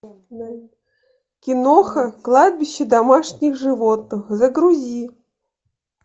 киноха кладбище домашних животных загрузи